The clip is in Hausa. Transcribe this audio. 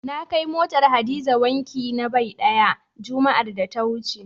Na kai motar Hadiza wanki na bai ɗaya, juma'ar da ta wuce.